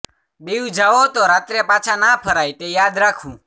દીવ જાઓ તો રાત્રે પાછા ના ફરાય તે યાદ રાખવું